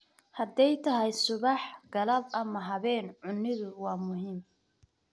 Hadday tahay subax, galab ama habeen � cunnidu waa muhiim.